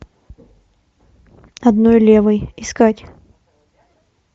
одной левой искать